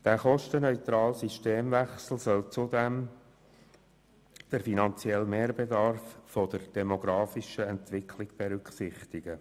Der «kostenneutrale» Systemwechsel soll zudem den finanziellen Mehrbedarf und die demografische Entwicklung berücksichtigen.